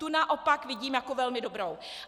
Tu naopak vidím jako velmi dobrou.